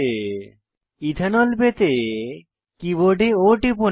ethanol ethanol পেতে কীবোর্ডে O টিপুন